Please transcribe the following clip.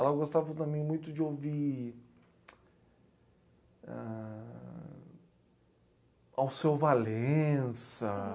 Ela gostava também muito de ouvir ... Ãh ... Alceu Valença.